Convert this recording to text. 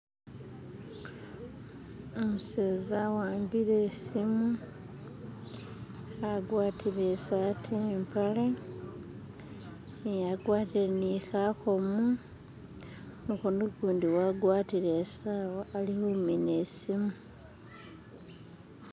Umuseza awambile isimu agwatile isaati ni mpaale agwatile ni khakomo mukono gundi wagwatile isawa alikumina isimu